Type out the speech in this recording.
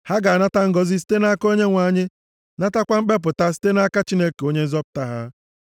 Ha ga-anata ngọzị site nʼaka Onyenwe anyị, natakwa mkpepụta site nʼaka Chineke Onye nzọpụta ha.